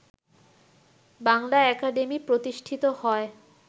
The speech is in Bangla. বাংলা একাডেমি প্রতিষ্ঠিত হয়